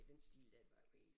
Og i den stil der det var jo helt